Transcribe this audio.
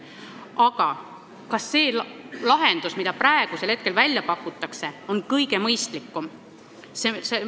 Aga kas see lahendus, mida praegu välja pakutakse, on kõige mõistlikum?